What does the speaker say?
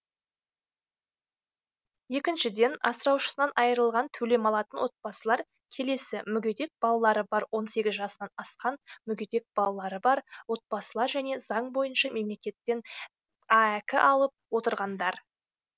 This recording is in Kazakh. екіншіден асыраушысынан айырылған төлем алатын отбасылар келесі мүгедек балалары бар он сегіз жасынан асқан мүгедек баласы бар отбасылар және заң бойынша мемлекеттен аәк алып отырғандар